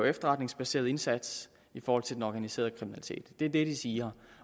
efterretningsbaseret indsats i forhold til den organiserede kriminalitet det er det de siger